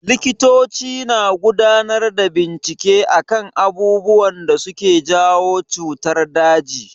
Likitoci na gudanar da bincike akan abubuwan da suke jawo cutar daji.